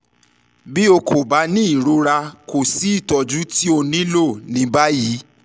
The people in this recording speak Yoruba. bi o ko ba ni irora ko si itọju ti o nilo ni bayi